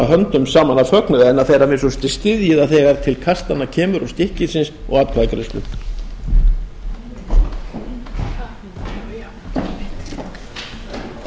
höndum saman af fögnuði en að þeir að minnsta kosti styðji það þegar til kastanna kemur og stykkisins og atkvæðagreiðslunnar